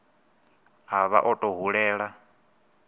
a vha o tou hulela